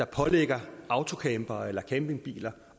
pålægger autocampere eller campingbiler